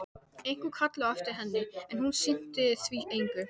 Einhver kallaði á eftir henni, en hún sinnti því engu.